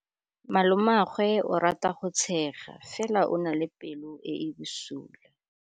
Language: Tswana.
Malomagwe o rata go tshega fela o na le pelo e e bosula.